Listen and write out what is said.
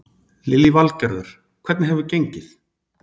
Lillý Valgerður: Hvernig hefur gengið?